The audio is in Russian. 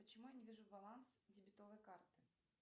почему я не вижу баланс дебетовой карты